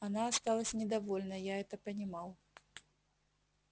она осталась недовольна я это понимал